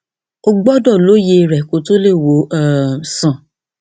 o gbọdọ lóye rẹ kó o tó lè wò ó um sàn